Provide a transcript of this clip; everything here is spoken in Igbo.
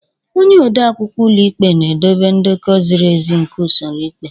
Onye odeakwụkwọ ụlọ ikpe na-edobe ndekọ ziri ezi nke usoro ikpe.